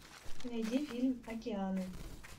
найди фильм океаны